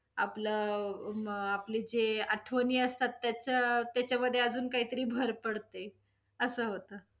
आपलं अ~ आपली जे आठवणी असतात, त्याच् त्याच्यामध्ये अजून काही तरी भर पडते, अस होतं.